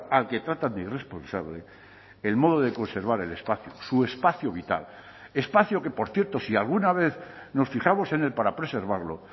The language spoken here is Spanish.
al que tratan de irresponsable el modo de conservar el espacio su espacio vital espacio que por cierto si alguna vez nos fijamos en él para preservarlo